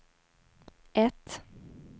ett